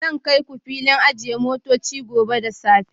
Zan kai ku filin ajiye motoci gobe da safe